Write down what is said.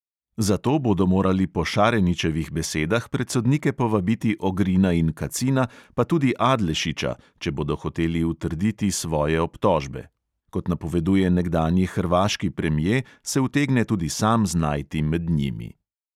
Zato bodo morali po šareničevih besedah pred sodnike povabiti ogrina in kacina, pa tudi adlešiča, če bodo hoteli utrditi svoje obtožbe; kot napoveduje nekdanji hrvaški premje, se utegne tudi sam znajti med njimi.